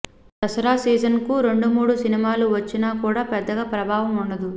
దసరా సీజన్కు రెండు మూడు సినిమాలు వచ్చినా కూడా పెద్దగా ప్రభావం ఉండదు